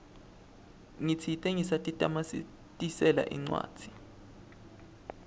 ngitsite ngisatitamatisela incwancwa